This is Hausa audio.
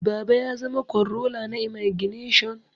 Baba ya zama kwanrola na imagination